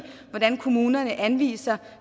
hvordan kommunerne anviser